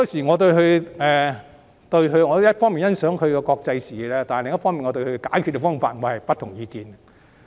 我一方面欣賞他的國際視野，但另一方面我對他的解決方法卻持不同意見。